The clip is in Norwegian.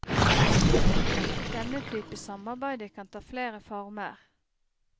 Denne type samarbeide kan ta flere former.